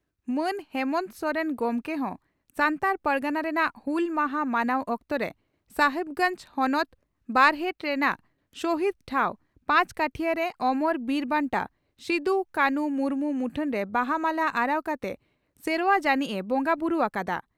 ᱢᱟᱱ ᱦᱮᱢᱚᱱᱛᱚ ᱥᱚᱨᱮᱱ ᱜᱚᱢᱠᱮ ᱦᱚᱸᱥᱟᱱᱛᱟᱲ ᱯᱟᱨᱜᱟᱱᱟ ᱨᱮᱱᱟᱜ ᱦᱩᱞ ᱢᱟᱦᱟᱸ ᱢᱟᱱᱟᱣ ᱚᱠᱛᱚᱨᱮ ᱥᱟᱦᱟᱵᱽᱜᱚᱸᱡᱽ ᱦᱚᱱᱚᱛ ᱵᱚᱨᱦᱮᱴ ᱨᱮᱱᱟᱜ ᱥᱚᱦᱤᱫᱽ ᱴᱷᱟᱣ ᱯᱚᱪᱠᱟᱹᱴᱷᱤᱭᱟᱹ ᱨᱮ ᱳᱢᱳᱨ ᱵᱤᱨ ᱵᱟᱱᱴᱟ ᱥᱤᱫᱩ ᱠᱟᱱᱦᱩ ᱢᱩᱨᱢᱩ ᱢᱩᱴᱷᱟᱹᱱᱨᱮ ᱵᱟᱦᱟ ᱢᱟᱞᱟ ᱟᱨᱟᱣ ᱠᱟᱛᱮ ᱥᱮᱨᱚᱣᱟ ᱡᱟᱹᱱᱤᱡ ᱮ ᱵᱚᱸᱜᱟ ᱵᱩᱨᱩ ᱟᱠᱟᱫᱼᱟ ᱾